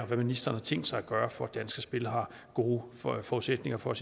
hvad ministeren har tænkt sig at gøre for at danske spil har gode forudsætninger for at